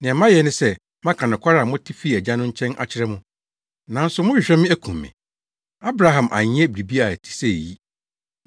Nea mayɛ ne sɛ maka nokware a mote fii Agya no nkyɛn akyerɛ mo, nanso mohwehwɛ me akum me. Abraham anyɛ biribi a ɛte sɛ eyi.